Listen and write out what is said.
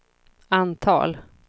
antal